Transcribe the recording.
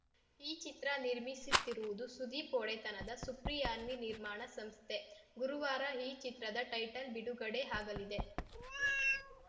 ಈ ಚಿತ್ರ ನಿರ್ಮಿಸುತ್ತಿರುವುದು ಸುದೀಪ್‌ ಒಡೆತನದ ಸುಪ್ರಿಯಾನ್ವಿ ನಿರ್ಮಾಣ ಸಂಸ್ಥೆ ಗುರುವಾರ ಈ ಚಿತ್ರದ ಟೈಟಲ್‌ ಬಿಡುಗಡೆ ಆಗಲಿದೆ